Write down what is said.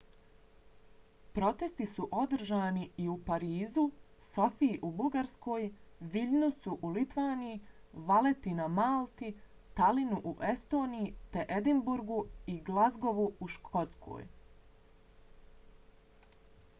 protesti su održani i u parizu sofiji u bugarskoj viljnusu u litvaniji valeti na malti talinu u estoniji te edinburgu i glazgovu u škotskoj